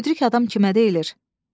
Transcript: Müdrik adam kimə deyilər?